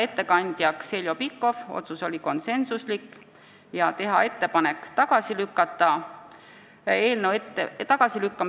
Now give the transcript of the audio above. Veel otsustati konsensusega määrata ettekandjaks Heljo Pikhof ja teha ettepanek eelnõu tagasi lükata.